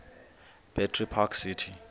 battery park city